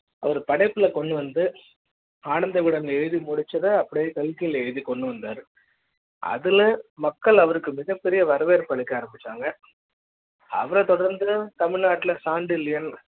அவர் படைப்புல கொண்டு வந்து ஆனந்த விகடன் எழுதி முடிச்சத அப்படியே கல்கியில் எழுதிக் கொண்டு வந்தார் அதுல மக்கள் அவருக்கு மிகப்பெரிய வரவேற்பு அளிக்க ஆரம்பிச்சாங்க அவரத் தொடர்ந்து தமிழ்நாட்டில சாண்டில்யன்